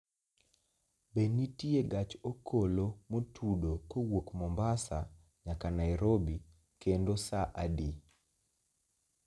Be nitie gach okolo motudo kowuok mombasa nyaka nairobi kendo saa adi